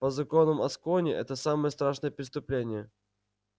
по законам аскони это самое страшное преступление